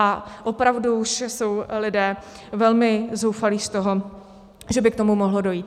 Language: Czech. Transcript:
A opravdu už jsou lidé velmi zoufalí z toho, že by k tomu mohlo dojít.